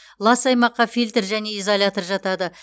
лас аймаққа фильтр және изолятор жатады